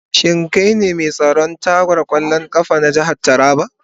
Shin kai ne mai tsaron ragar kwallon kafa na jihar Taraba?